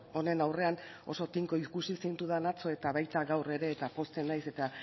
honen aurrean oso tinko ikusi zintudan atzo eta baita gaur ere eta pozten naiz eta